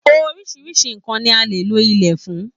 Oríṣiríṣi nnkan ní a lè lò ilé fún.